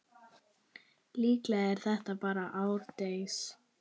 Líklega er þetta bara árdegis